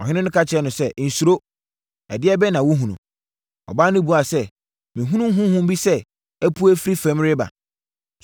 Ɔhene no ka kyerɛɛ no sɛ, “Nsuro. Ɛdeɛbɛn na wohunu?” Ɔbaa no buaa sɛ, “Mehunu honhom bi sɛ apue afiri fam reba.”